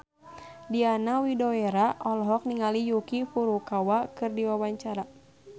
Diana Widoera olohok ningali Yuki Furukawa keur diwawancara